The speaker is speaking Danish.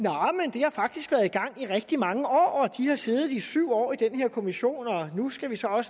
har faktisk været i gang i rigtig mange år de har siddet i syv år i den her kommission og nu skal vi